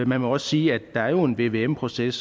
man må også sige at der jo er en vvm proces